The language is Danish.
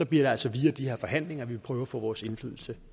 det altså via de her forhandlinger at vi vil prøve at få vores indflydelse